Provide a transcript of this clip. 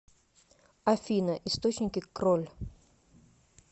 афина источники кроль